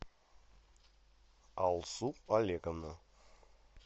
алсу олеговна